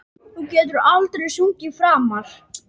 Þú getur aldrei sungið framar